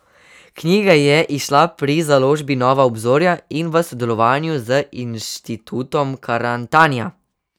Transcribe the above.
Knjiga je izšla pri založbi Nova obzorja in v sodelovanju z inštitutom Karantanija.